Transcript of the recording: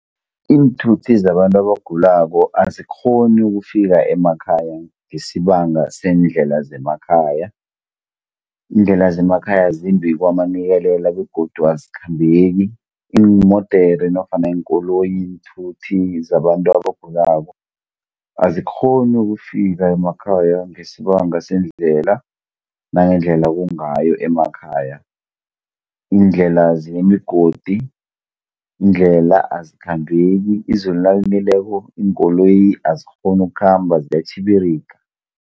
Iinthuthi zabantu abagulako azikghoni ukufika emakhaya ngesibanga seendlela zemakhaya. Iindlela zemakhaya zimbi kwamanikelela begodu azikhambeki, iimodere nofana iinkoloyi, iinthuthi zabantu abagulako, azikghoni ukufika emakhaya ngesibanga seendlela, nangendlela kungayo emakhaya. Iindlela zinemigodi, iindlela azikhambek, izulu nalinileko iinkoloyi azikghoni ukukhamba ziyatjhibiriga.